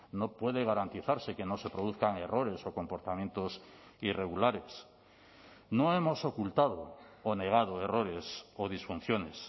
no puede garantizarse que no se produzcan errores o comportamientos irregulares no hemos ocultado o negado errores o disfunciones